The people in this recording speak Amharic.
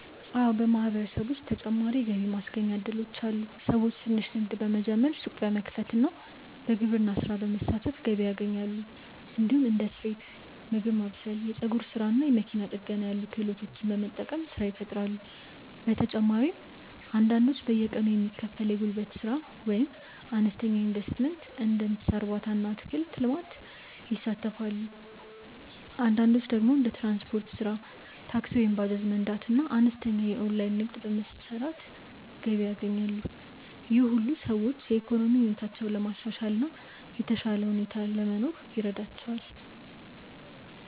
አዎ፣ በማህበረሰባችን ውስጥ ተጨማሪ የገቢ ማስገኛ እድሎች አሉ። ሰዎች ትንሽ ንግድ በመጀመር፣ ሱቅ በመክፈት እና በግብርና ስራ በመሳተፍ ገቢ ያገኛሉ። እንዲሁም እንደ ስፌት፣ ምግብ ማብሰል፣ የፀጉር ስራ እና መኪና ጥገና ያሉ ክህሎቶችን በመጠቀም ስራ ይፈጥራሉ። በተጨማሪም አንዳንዶች በየቀኑ የሚከፈል የጉልበት ስራ ወይም በአነስተኛ ኢንቨስትመንት እንደ እንስሳ እርባታ እና አትክልት ልማት ይሳተፋሉ። አንዳንዶች ደግሞ እንደ ትራንስፖርት ስራ (ታክሲ ወይም ባጃጅ መንዳት) እና አነስተኛ የኦንላይን ንግድ በመስራት ገቢ ያገኛሉ። ይህ ሁሉ ሰዎች የኢኮኖሚ ሁኔታቸውን ለማሻሻል እና የተሻለ ኑሮ ለመኖር ይረዳቸዋል።